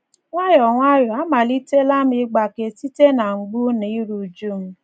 Nwayọọ nwayọọ amalitela m ịgbake site na mgbu na iru újú m.